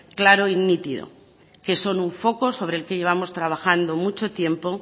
claro y nítido que son un foco sobre el que llevamos trabajando mucho tiempo